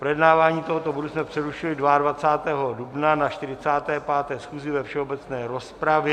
Projednávání tohoto bodu jsme přerušili 22. dubna na 45. schůzi ve všeobecné rozpravě.